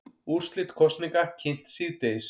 Úrslit kosninga kynnt síðdegis